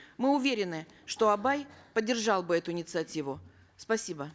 мы уверены что абай поддержал бы эту инициативу спасибо